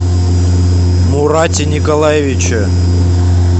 мурате николаевиче